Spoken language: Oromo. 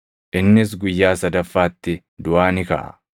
Innis guyyaa sadaffaatti duʼaa ni kaʼa.”